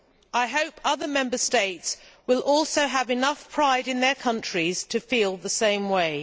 I hope other Member States will also have enough pride in their countries to feel the same way.